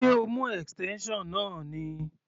Ṣé o mú extension náà ni?